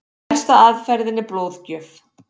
Elsta aðferðin er blóðgjöf.